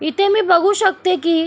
इथे मी बघू शकते की--